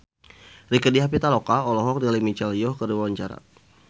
Rieke Diah Pitaloka olohok ningali Michelle Yeoh keur diwawancara